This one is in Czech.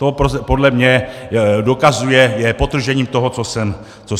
To podle mě dokazuje, je podtržením toho, co jsem řekl.